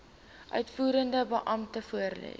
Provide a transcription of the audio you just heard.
uitvoerende beampte voorlê